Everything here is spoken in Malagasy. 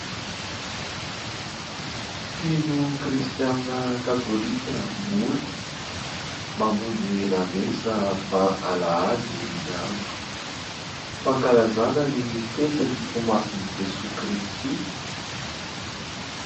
Mpino kristianina katolika vory. Mamonjy lamesa fa alahady ny andro. Fankalazana ny fetin'ny fomasin'i Jesoa kristy.